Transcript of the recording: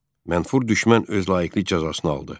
Mənfur düşmən öz layiqli cəzasını aldı.